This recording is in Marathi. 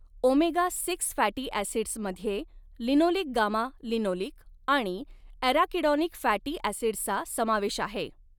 ओमेगा सिक्स फॅटी ॲसिड्समध्ये लिनोलिक गामा लिनोलिक आणि ॲराकिडॉनिक फॅटी ॲसिड्सचा समावेश आहे.